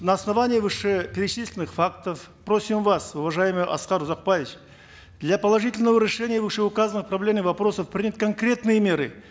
на основании вышеперечисленных фактов просим вас уважаемый аскар узакбаевич для положительного решения вышеуказанных проблемных вопросов принять конкретные меры